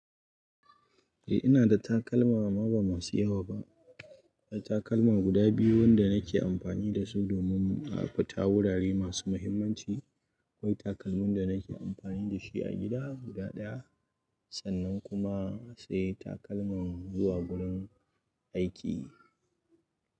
Eh ina da takalma ma ba masu yawa ba, takalma guda biyu wanda nake amfani dasu domin a fita wurare masu muhimmanci. Akwai takalmin da nake amfani da shi a gida guda ɗaya sannan kuma sai takalman zuwa gurin aiki.